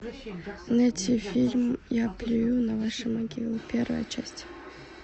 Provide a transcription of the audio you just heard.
найти фильм я плюю на ваши могилы первая часть